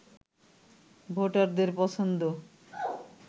ভোটারদের পছন্দ